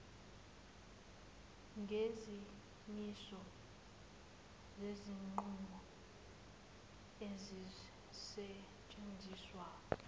ngezimiso zezinqumo ezisetshenziswa